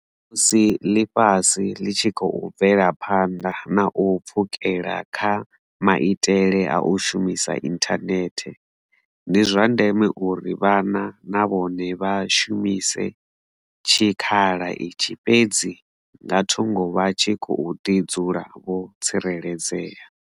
Musi ḽifhasi ḽi tshi khou bvela phanḓa na u pfukela kha maitele a u shumisa inthanethe, ndi zwa ndeme uri vhana na vhone vha shumise tshikhala itshi fhedzi nga thungo vha tshi khou ḓi dzula vho tsireledzea.